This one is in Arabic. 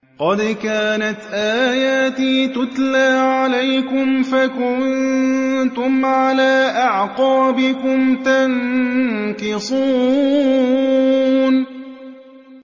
قَدْ كَانَتْ آيَاتِي تُتْلَىٰ عَلَيْكُمْ فَكُنتُمْ عَلَىٰ أَعْقَابِكُمْ تَنكِصُونَ